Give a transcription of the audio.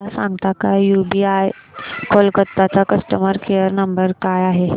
मला सांगता का यूबीआय कोलकता चा कस्टमर केयर नंबर काय आहे